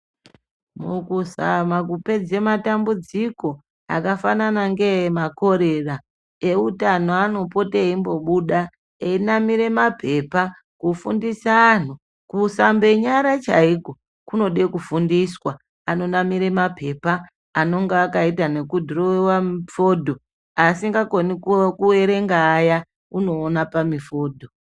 Mukuzama kupedza matambudziko akafanana ngeemakorera, ewutano anopota eyimbobuda, eyinamira mapepa kufundisa anhu, kusambe nyara chaiko kunode kufundiswa. Anonamire mapepa anonga akayita nekudhirowiwa mifodho, asikakoni kuerenga aya ,unoona pamifodho.